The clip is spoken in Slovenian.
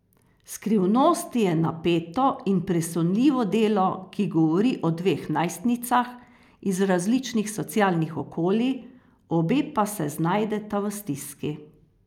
Skrivnosti je napeto in presunljivo delo, ki govori o dveh najstnicah iz različnih socialnih okolij, obe pa se znajdeta v stiski.